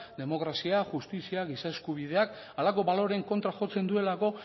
demokrazia justizia giza eskubideak halako baloreen kontra jotzen duelako